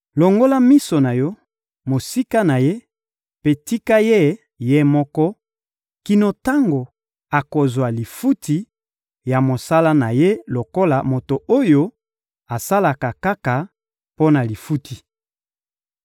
Longola miso na Yo mosika na ye mpe tika ye, ye moko, kino tango akozwa lifuti ya mosala na ye lokola moto oyo asalaka kaka mpo na lifuti.